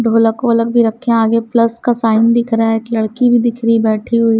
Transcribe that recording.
ढोलक वोलक भी रखे हैं आगे प्लस का साइन दिख रहा है एक लड़की भी दिख रही है बैठी हुई --